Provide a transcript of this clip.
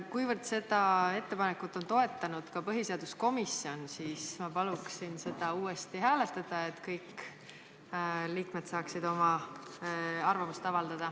Kuivõrd seda ettepanekut on toetanud ka põhiseaduskomisjon, siis ma palun seda uuesti hääletada, et kõik liikmed saaksid oma arvamuse avaldada.